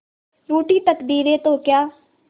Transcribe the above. रूठी तकदीरें तो क्या